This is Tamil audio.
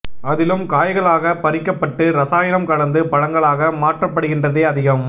அதிலும் காய்களாக பறிக்கபட்டு ரசாயனம் கலந்து பழங்களாக மாற்றபடுகின்றதே அதிகம்